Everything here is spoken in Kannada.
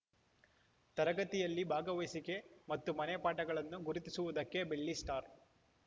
ತರಗತಿಗೆಯಲ್ಲಿ ಭಾಗವಹಿಸುವಿಕೆ ಮತ್ತು ಮನೆ ಪಾಠಗಳನ್ನು ಗುರುತಿಸುವುದಕ್ಕೆ ಬೆಳ್ಳಿ ಸ್ಟಾರ್‌